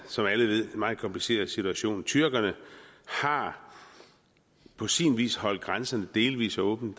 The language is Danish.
som alle ved meget kompliceret situation tyrkerne har på sin vis holdt grænsen delvis åben